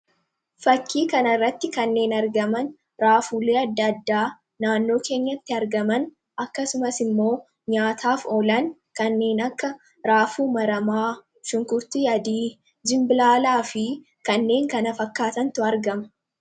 fakkii kana irratti kanneen argaman raafuulee adda-addaa naannoo keenyatti argaman akkasumas immoo nyaataaf oolan kanneen akka raafuu maramaa dinbibilaalaa fi kanneen kana fakkaatantu argama